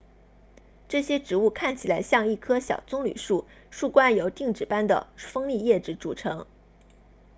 这些植物看起来像一棵小棕榈树树冠由钉子般的锋利叶子组成